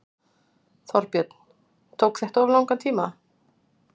Þorbjörn: Tók þetta of langan tíma?